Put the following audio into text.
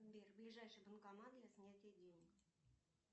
сбер ближайший банкомат для снятия денег